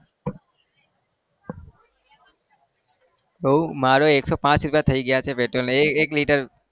બહુ મારે એકસો પાંચ રૂપિયા થઈ ગયા છે petrol એ એક લીટર.